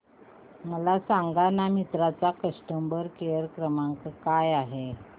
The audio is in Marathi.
मला सांगाना मिंत्रा चा कस्टमर केअर क्रमांक काय आहे